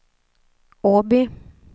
Åby